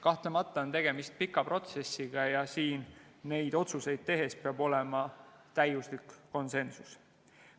Kahtlemata on tegemist pika protsessiga ja neid otsuseid tehes peab olema konsensus.